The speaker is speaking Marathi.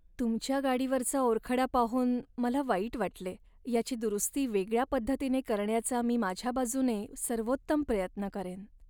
तुमच्या गाडीवरचा ओरखडा पाहून मला वाईट वाटले, याची दुरुस्ती वेगळ्या पद्धतीने करण्याचा मी माझ्या बाजूने सर्वोत्तम प्रयत्न करेन.